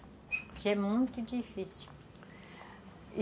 Isso é muito difícil.